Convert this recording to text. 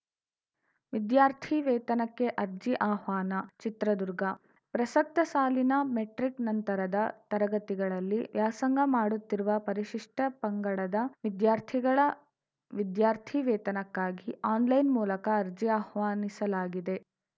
ವಿದ್ಯಾರ್ಥಿ ವೇತನಕ್ಕೆ ಅರ್ಜಿ ಆಹ್ವಾನ ಚಿತ್ರದುರ್ಗ ಪ್ರಸಕ್ತ ಸಾಲಿನ ಮೆಟ್ರಿಕ್‌ ನಂತರದ ತರಗತಿಗಳಲ್ಲಿ ವ್ಯಾಸಂಗ ಮಾಡುತ್ತಿರುವ ಪರಿಶಿಷ್ಟಪಂಗಡದ ವಿದ್ಯಾರ್ಥಿಗಳ ವಿದ್ಯಾರ್ಥಿ ವೇತನಕ್ಕಾಗಿ ಆನ್‌ಲೈನ್‌ ಮೂಲಕ ಅರ್ಜಿ ಆಹ್ವಾನಿಸಲಾಗಿದೆ